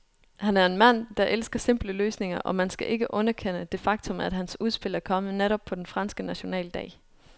Han er en mand, der elsker simple løsninger, og man skal ikke underkende det faktum, at hans udspil er kommet netop på den franske nationaldag.